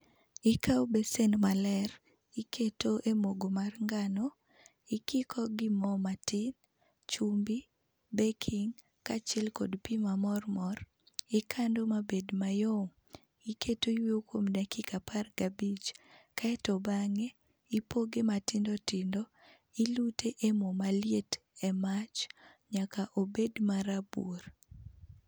Ikawo besen maler, iketo e mogo mar ngano, ikiko gi mo matin, chumbi, beking',kaachiel kod pi ma mormor, ikando mabed mayom, iketo yueyo kuom dakika apar gabich. Kaeto bang'e, ipoge matindo tindo ilute e mo maliet emach nyaka obed marabuor.